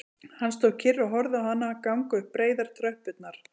Hann stóð kyrr og horfði á hana ganga upp breiðar tröppurnar